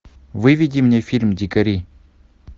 выведи мне фильм дикари